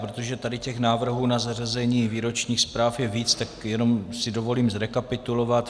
Protože tady těch návrhů na zařazení výročních zpráv je víc, tak si jenom dovolím zrekapitulovat.